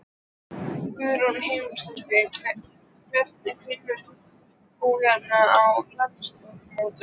Guðrún Heimisdóttir: Hvernig finnst þér hérna á landsmótinu?